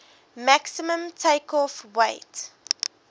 maximum takeoff weight